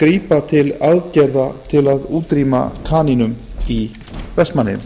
grípa til aðgerða til að útrýma kanínum í vestmannaeyjum